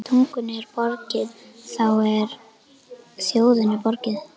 Ef tungunni er borgið, þá er þjóðinni borgið.